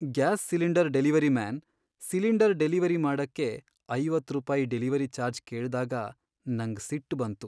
Gas cylinder delivery man, cylinder delivery ಮಾಡಕ್ಕೆ ಐವತ್ತ್ ರೂಪಾಯಿ ಡೆಲಿವರಿ ಚಾರ್ಜ್ ಕೇಳ್ದಾಗ ನಂಗ್ ಸಿಟ್ಟ್ ಬಂತು.